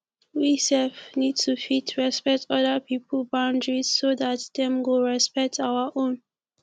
we sef need to fit respect oda pipo boundaries so dat dem go respect our own